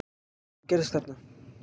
Öllu sem gerðist þarna